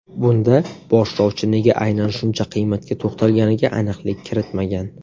Bunda boshlovchi nega aynan shuncha qiymatga to‘xtalganiga aniqlik kiritmagan.